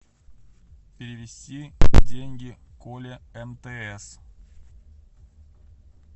перевести деньги коле мтс